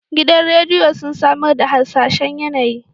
Gidan rediyo sun samar da harsashen yAnayi